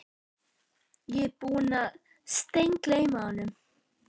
Ég var búinn að steingleyma honum